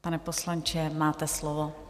Pane poslanče, máte slovo.